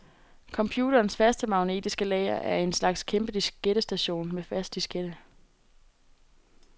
Computerens faste magnetiske lager er en slags kæmpe diskettestation med fast diskette.